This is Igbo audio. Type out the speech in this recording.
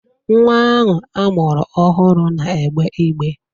Nwa ahụ a mụrụ ọhụrụ na-egbe igbe.